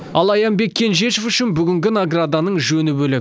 ал аянбек кенжешов үшін бүгінгі награданың жөні бөлек